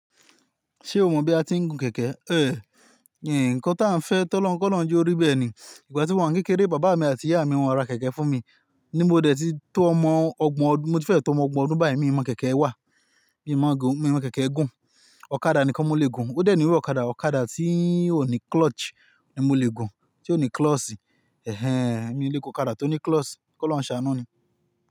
Ṣé o mọ̀ bí a ti ń gun kẹ̀kẹ́? Ehn, ǹkan tí a ń fẹ́ tọ́lọ́run, kọ́lọ́run je orí bẹ́ẹ̀ ni. Ìgbà tí mo wani kékeré, bàbá mi àti ìyá mi wọn o ra kẹ̀kẹ́ fún mi. Ni mo dẹ̀ tí tó ọmọ ọgbọ̀n ọdún, mo ti fẹ́ tó ọmọ ọgbọ̀n ọdún bayi mi ò mọ kẹ̀kẹ́ wà. Mí mo gun, mi mọ kẹ̀kẹ́ gun. Ọ̀kadà ni kan mo lè gun. Ó dẹ̀ nìru ọ̀kadà, ọ̀kadà tí ò ní clutch ni mo lè gun, tí ò ní clọ́ọ̀ṣì. Ehen, mi ò lè gun ọ̀kadà tó ní clọ́ọ̀ṣì. Kọ́lọ́run ṣàánú ni.